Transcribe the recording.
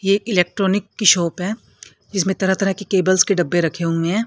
ये इलेक्ट्रॉनिक की शॉप है जीसमें तरह तरह की केबल्स के डब्बे रखे हुए हैं।